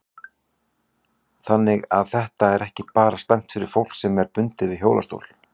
Þannig að þetta er ekki bara slæmt fyrir fólk sem er bundið við hjólastól?